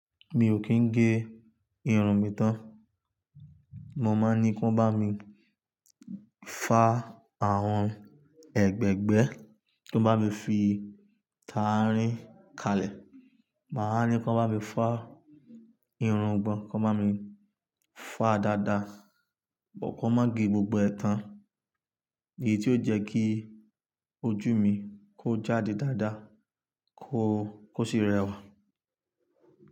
Mi ò kin gé irun mi tán, mo má ní kí wọ́n bá mi fá àwọn ẹ̀gbẹ́ẹ̀gbẹ́, kan bá mi fi tarin kalẹ̀, má ní kí wọ́n bá mi fá irùngbọ̀n, kí wọ́n bá mi fá dada, but kan má gé gbogbo ẹ̀ tán, èyí tí ó jẹ́ kí ojú mi kó jáde dada, kó sì rẹwà.